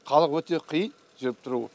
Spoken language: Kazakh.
халық өте қиын жүріп тұруы